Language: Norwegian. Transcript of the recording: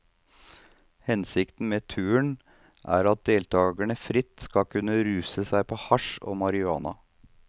Hensikten med turen er at deltagerne fritt skal kunne ruse seg på hasj og marihuana.